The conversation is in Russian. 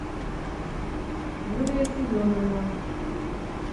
юлия семеновна